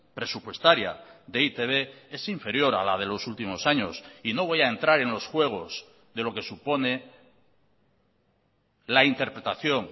presupuestaria de e i te be es inferior a la de los últimos años y no voy a entrar en los juegos de lo que supone la interpretación